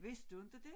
Vidste du inte dét?